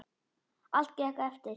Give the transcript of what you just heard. Allt gekk eftir.